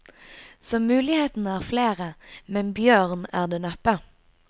Så mulighetene er flere, men bjørn er det neppe.